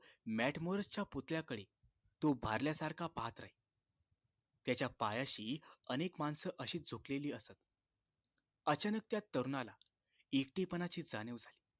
matmoras च्या पुतळ्याकडे तो भरल्यासारखा पाहात राही त्याच्या पायाशी अनेक माणसं अशीच झोपलेली असत अचानक त्या तरुणाला एकटेपणाची जाणीव झाली